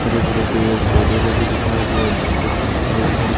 हरे- भरे पेड़ पौधे लगे दिखाई दे रहे है। दिनका समय दिखाई दे रहा है।